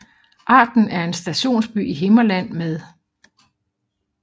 Arden er en stationsby i Himmerland med